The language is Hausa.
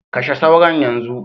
Kashe sauron yanzu.